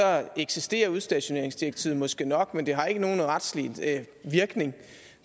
eksisterer udstationeringsdirektivet måske nok men det har ikke nogen retslig virkning